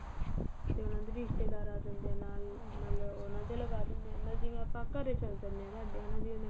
ਤੇ ਉਹਨਾ ਦੇ ਵੀ ਰਿਸ਼ਤੇਦਾਰ ਆ ਜਾਂਦੇ ਏ ਨਾਲ ਉਹਨਾ ਦੇ ਲਗਾ ਦਿੰਦੇ ਆ ਮਤਲਬ ਜਿਵੇਂ ਆਪਾਂ ਘਰੇ ਚਲੇ ਜਾਨੇ ਆ ਸਾਡੇ ਹਨਾ ਜਿਵੇਂ